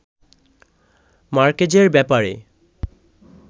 মার্কেজের ব্যাপারে